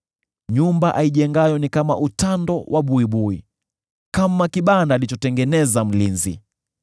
Nyumba aijengayo ni kama utando wa buibui, kama kibanda alichotengeneza mlinzi.